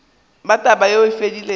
ba taba yeo e fedilego